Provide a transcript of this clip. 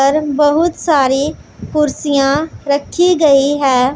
और बहुत सारी कुर्सियां रखी गई है।